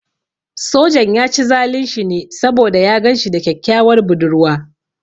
Sojan ya ci zalun shi ne saboda ya gan shi da kyakkyawar budurwa.